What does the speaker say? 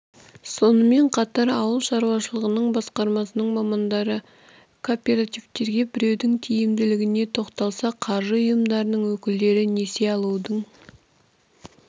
сонымен қатар ауыл шаруашылығы басқармасының мамандары коопертаивтерге бірігудің тиімділігіне тоқталса қаржы ұйымдарының өкілдері несие алудың